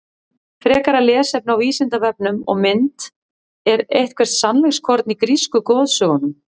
Frekara lesefni á Vísindavefnum og mynd Er eitthvert sannleikskorn í grísku goðsögunum?